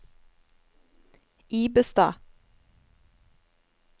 Ibestad